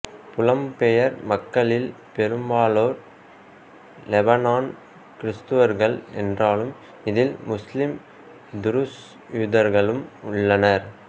புலம்பெயர் மக்களில் பெரும்பாலோர் லெபனான் கிறிஸ்தவர்கள் என்றாலும் இதில் முஸ்லிம் துருஸ் யூதர்களும் உள்ளனர்